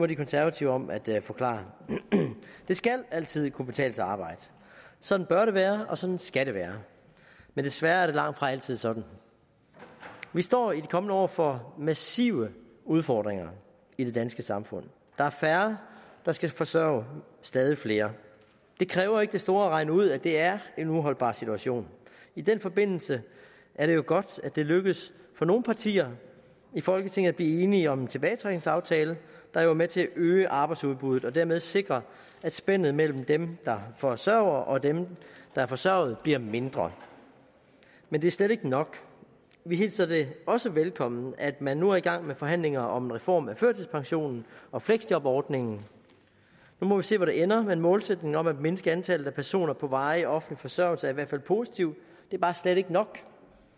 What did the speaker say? de konservative om at forklare det skal altid kunne betale sig at arbejde sådan bør det være og sådan skal det være men desværre er det langtfra altid sådan vi står i de kommende år over for massive udfordringer i det danske samfund der er færre der skal forsørge stadig flere det kræver ikke det store at regne ud at det er en uholdbar situation i den forbindelse er det jo godt at det er lykkedes for nogle partier i folketinget at blive enige om en tilbagetrækningsaftale der er med til at øge arbejdsudbuddet og dermed sikre at spændet mellem dem der forsørger og dem der er forsørget bliver mindre men det er slet ikke nok vi hilser det også velkommen at man nu er i gang med forhandlinger om en reform af førtidspensionen og fleksjobordningen nu må vi se hvor det ender men målsætningen om at mindske antallet af personer på varig offentlig forsørgelse er i hvert fald positiv det er bare slet ikke nok